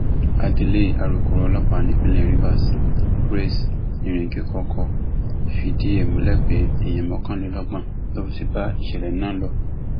adelé alūkkoro ọlọpàá nípínlẹ rivers grace iringekọkọ fìdí ẹ múlẹ pé èèyàn mọkànlélọgbọn ló ti bá ìṣẹlẹ náà lọ